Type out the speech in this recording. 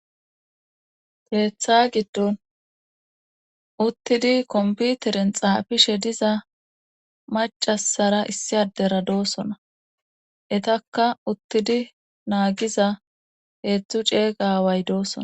Keetha giddon uttidi komputeren xaafishe diza macasara issi adera doosona etakka uttidi naagiza heedzdzu ceeyga way doosona